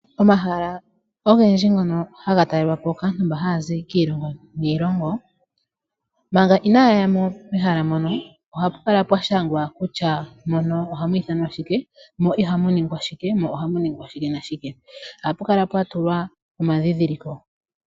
Omahala ogendji ngono haga talelwa po kaantu mbono haya zi kiilongo niilongo, manga inaya ya mo mehala mono ohapu kala pwa shangwa kutya mehala mono ohamu ithanwa shike, mo ihamu ningwa shike nohamu ningwa shike nashike. Ohapu kala pwa tulwa omadhindhiliko.